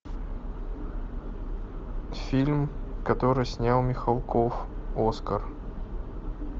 фильм который снял михалков оскар